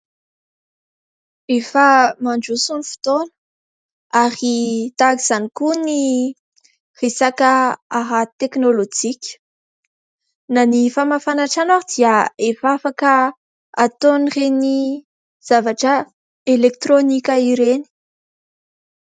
Efa mandroso ny fotoana ary tahaka izany koa ny resaka ara-teknôlôjika. Na ny famafana trano ary dia efa afaka ataon'ireny zavatra elektrônika ireny.